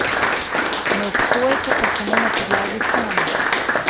Ne obsojate pa samo na podlagi sanj.